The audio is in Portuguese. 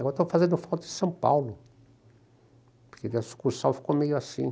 Agora estou fazendo foto de São Paulo, porque ficou meio assim.